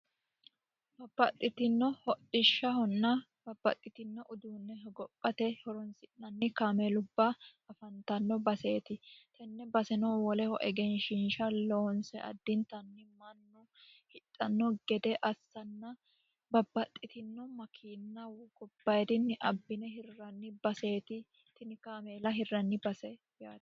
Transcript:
babaxxitino ho'dhishshahonna babbaxxitino uduunne hogophate horonsi'nanni kaamee lubba afantanno baseeti tenne basenoo woleho egenshinsha loonse addintanni mannu hidhanno gede assanna babbaxxitino makiinna gobbayirinni abbine hirranni baseeti tini kaameela hirranni base yaati